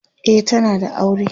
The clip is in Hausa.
e tana da aure